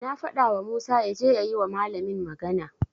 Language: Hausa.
Na fadawa Musa yaje ya yi wa malamin magana.